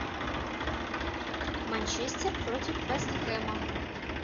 манчестер против вест хэма